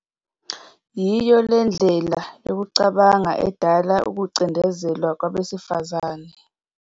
Yiyo le ndlela yokucabanga edala ukucindezelwa kwabesifazane.